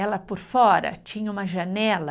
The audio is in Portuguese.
Ela, por fora, tinha uma janela